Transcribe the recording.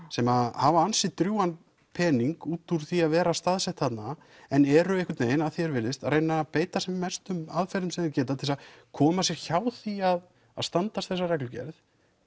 sem hafa ansi drjúgan pening útúr því að vera staðsett þarna en eru einhvern veginn að því er virðist að reyna að beita sem mestum aðferðum sem þeir geta til þess að koma sér hjá því að að standast þessa reglugerð